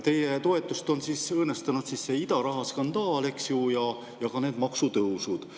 Teie toetust on õõnestanud see idaraha skandaal, eks ju, ja ka need maksutõusud.